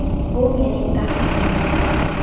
Bu mening taxminim”.